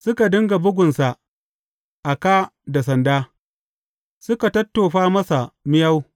Suka dinga bugunsa a kā da sanda, suka tattofa masa miyau.